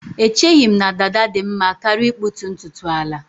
Echeghị m na dada dị mma karịa ịkpụtu ntutu ala